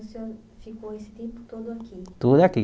Aí o senhor ficou esse tempo todo aqui? Tudo aqui